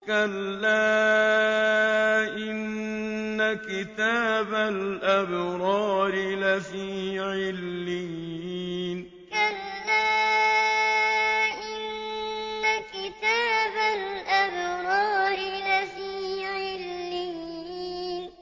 كَلَّا إِنَّ كِتَابَ الْأَبْرَارِ لَفِي عِلِّيِّينَ كَلَّا إِنَّ كِتَابَ الْأَبْرَارِ لَفِي عِلِّيِّينَ